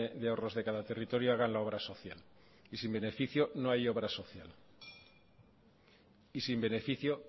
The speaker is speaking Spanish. de ahorros de cada territorio hagan la obra social y sin beneficio no hay obra social y sin beneficio